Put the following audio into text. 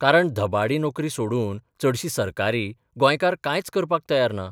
कारण धबाडी नोकरी सोडून चडशी सरकारी गोंयकार कांयच करपाक तयार ना.